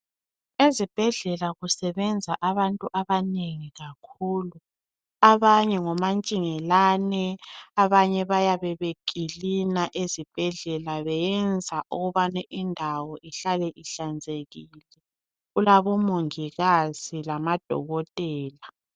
Ezibhedlela kusebenza abantu abanengi kakhulu abanye ngomantshingelane abanye bayabe bekilina ezibhedlela beyenza ukubana indawo ihlale ihlanzekile kulabomongikazi lamadokotela.